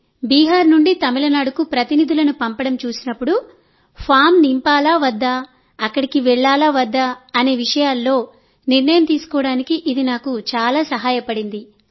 కాబట్టి బీహార్ నుండి తమిళనాడుకు ప్రతినిధులను పంపడం చూసినప్పుడు ఫామ్ నింపాలా వద్దా అక్కడికి వెళ్ళాలా వద్దా అనే విషయాల్లో నిర్ణయం తీసుకోవడానికి ఇది నాకు చాలా సహాయపడింది